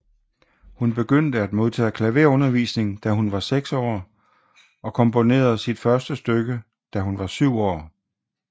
Hun begyndte at modtage klaverundervisning da hun var seks år og komponerede sit første stykke da hun var syv år